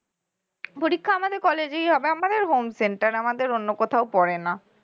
পরীক্ষা আমাদের college এই হবে আমাদের home center আমাদের অন্য কোথাও পড়ে না